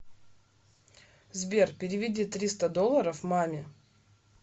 сбер переведи триста долларов маме